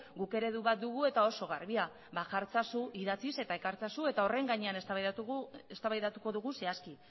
guk eredu bat dugula eta oso garbia jarri itzazu idatziz eta ekar itzazu eta horren gainean eztabaidatuko dugu zehazki